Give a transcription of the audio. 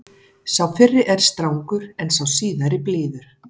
Sá fyrri er strangur en sá síðari blíður.